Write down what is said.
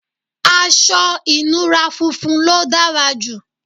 aṣọ ìnura funfun ló dára jù